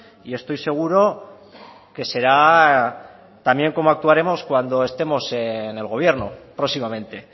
y estoy seguro que será también cómo actuaremos cuando estemos en el gobierno próximamente